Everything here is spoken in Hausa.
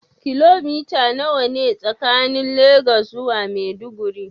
Kilomita nawa ne tsakanin Legas zuwa Maiduguri.